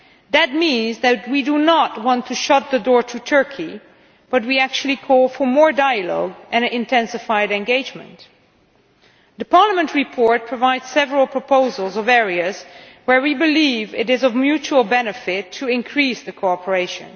That means that we do not want to shut the door to Turkey, but we are calling for more dialogue and intensified engagement. The European Parliament report provides several proposals in areas where we believe it is of mutual benefit to increase cooperation.